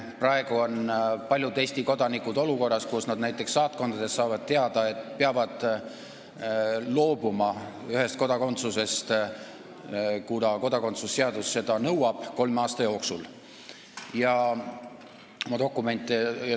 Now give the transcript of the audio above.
Praegu on paljud Eesti kodanikud olukorras, kus nad on saanud näiteks saatkonnas teada, et peavad kolme aasta jooksul loobuma ühest kodakondsusest, kuna kodakondsuse seadus nõuab seda.